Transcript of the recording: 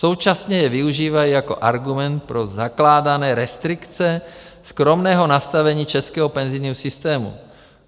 Současně je využívají jako argument pro zakládané restrikce skromného nastavení českého penzijního systému.